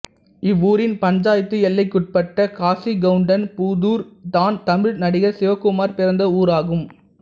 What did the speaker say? இவ்வூரின் பஞ்சாயத்து எல்லைக்குட்பட்ட காசிகவுண்டன் புதூர் தான் தமிழ் நடிகர் சிவகுமார் பிறந்த ஊராகும்